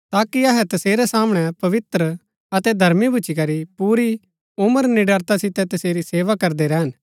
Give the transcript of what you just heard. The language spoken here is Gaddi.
ताकि अहै तसेरै सामणै पवित्र अतै धर्मी भूच्ची करी पूरी ऊमर निडरता सितै तसेरी सेवा करदै रैहन